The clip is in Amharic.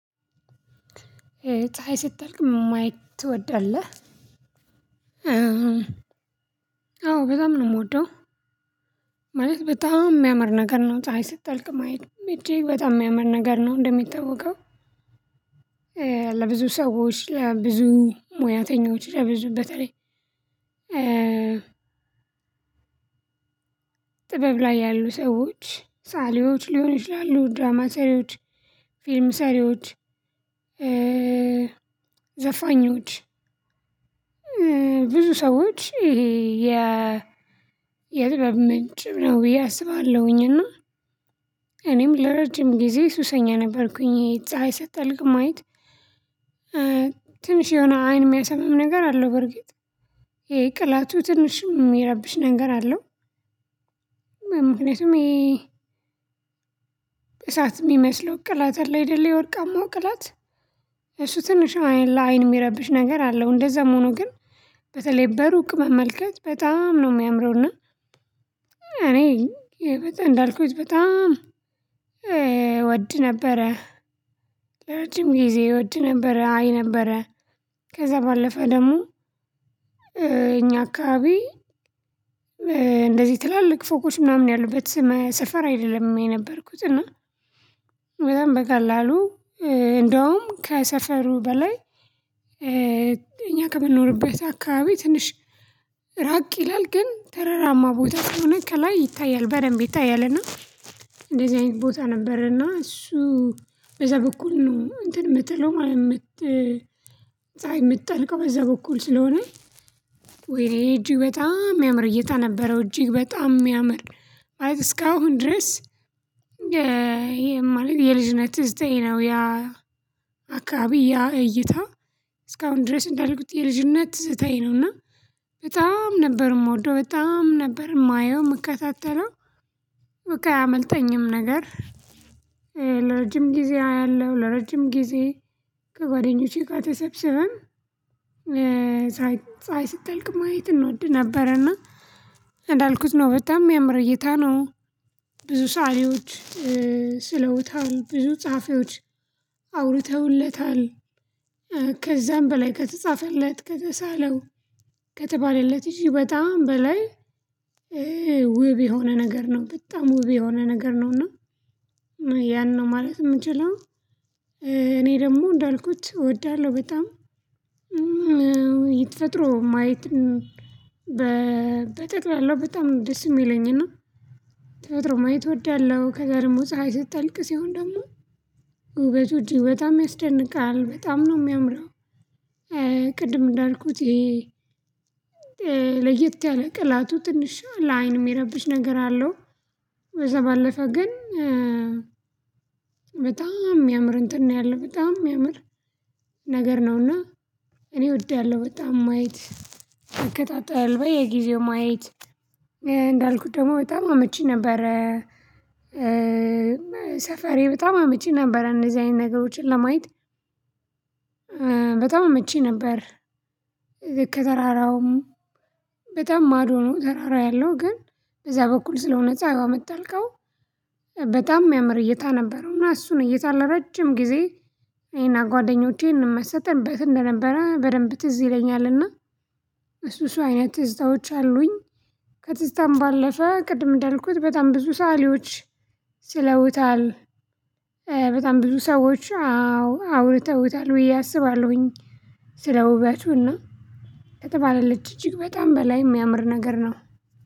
ፀይ ስትጠልቅ ማየት ትወዳለህ አዎ በጣም ነው የምወደው። ማለት በጣም የሚያምር ነገር ነው ፀሀይ ስትጠልቅ ማየት እጅግ በጣም የሚያምር ነገር ነው። እንደሚታወቀው ለብዙ ሰዎች ለብዙ ሙያተኞች የብዙ በተላይ ጥበብ ላይ ያሉ ሰዎች ሳሊዎች ሊሆን ይችላሉ ድራማ ሰሪዎች ፊልም ሰሪዎች ዘፋኞች ብዙ ሰዎች ይሄ የ የጥበብ ምንጭ ነው ብዬ አስባለሁኝ። እና እኔም ለረጅም ጊዜ ሱሰኛ ነበርኩኝ። የፀሀይ ሰትጠልክቅ ማየት ትንሽ የሆነ አይን የሚያሰምም ነገር አለው በርግጥ ይሄ ቅላቱ ትንሽም የሚያረብሽ ነገር አለው። ምክንያቱም ይሄ በሰአት የሚመስለው ቅላት አለ አይደለ የወርቃማው ቅላት ትንሽ አይን ለአይን የሚያረብሽ ነገር አለው እንደዛም ሆኖ ግን በተለይ በሩቅ መመልከት በጣም ነው የሚያምረው። እና እኔ በጣም እንዳልኩት በጣም እወድ ነበረ ለረጅም ጊዜ እወድ ነበረ አይ ነበረ። ከዛ ባለፈ ደግሞ እኛ አካባቢ እንደዚህ ትላልቅ ፎቆች ምናምን ያሉበት ሰፈር አይደለም የነበርኩት። እና በጣም በቀላሉ እንደውም ከሰፈሩ በላይ እኛ ከምንኖርበት አካባቢ ትንሽ ራቅ ይላል ግን ተረራማ ቦታ ከሆነ ከላይ ይታያል በደንብ ይታያልና። እንደዚህ አይነት ቦታ ነበርና እሱ በዛ በኩል ነው እንትን የምትለው ማለት የምት ፀሀይ የምትጠልቀው በዛ በኩል ስለሆነ ወይ እጅግ በጣም የሚያምር እይታ ነበረው። እጅግ በጣም የሚያምር ማለት እስካሁን ድረስ ማለት የልጅነት ዘጠኝ ነው ያ አካባቢ ያ እይታ እስካሁን ድረስ እንዳልኩት የልጅነት ትዝታዬ ነውና በጣም ነበር የምወደው በጣም ነበር የማየው የምከታተለው። በቃ አያመልጠኝም ነገር ለረጅም ጊዜ አያለሁ ለረጅም ጊዜ ከጓደኞቼ ጋር ተሰብስበን ሳይ ስትጠልቅ ማየት እንወድ ነበረና እንዳልኩት ነው በጣም የሚያምር እይታ ነው። ብዙ ሰአሊዎች ስለውታል ብዙ ጸሀፊዎች አውርተውለታል ከዛም በላይ ከተጻፈለት ከተሳለው ከተባለለት እሱ በጣም በላይ ውብ የሆነ ነገር ነው። በጣም ውብ የሆነ ነገር ነው እና ያን ነው ማለት የምችለው እኔ ደግሞ እንዳልኩት እወዳለሁ በጣም። ማየት በጠቅላለው በጣም ደስ የሚለኝና ተፈጥሮን ማየት እወዳለሁ ከዚያ ደሞ ፀሀይ ስትጠልቅ ሲሆን ደግሞ ውበቱ እጅ በጣም ያስደንቃል በጣም ነው የሚያምረው። ቅድም እንዳልኩት ይሄ ለየት ያለ ቅላቱ ትንሽ ለአይን የሚያረብሽ ነገር አለው። በዛ ባለፈ ግን በጣም የሚያምር እንትን ነው ያለው በጣም የሚያምር ነገር ነውና እኔ እወድዳለሁ በጣም ማየት አከታተል በየጊዜው ማየት እንዳልኩት ደግሞ በጣም አመቺ ነበረ። ሰፈሬ በጣም አመቺ ነበር እነዚህ አይነት ነገሮችን ለማየት በጣም አመቺ ነበር። ልክ ከተራራውም በጣም ማዶ ነው ተራራ ያለው ግን በዛ በኩል ስለሆነ ጻሀዋ የምጠልቀው በጣም ያምር እይታ ነበረው። እና እሱን እይታ ለረጅም ጊዜ ይሄን እኔና ጓደኞቼን እንመሰጥበት እንደነበረ በደንብ ትዝ ይለኛልና እሱ ሰው አይነት ትዝታዎች አሉኝ። ከትዝታም ባለፈ ቅድም እንዳልኩት በጣም ብዙ ሰአሊዎች ስለውታል በጣም ብዙ ሰዎች አዎ አውርተውታል ብዬ አስባለሁኝ። ስለ ውበቱና ከተባለለች እጅግ በጣም በላይ የሚያምር ነገር ነው።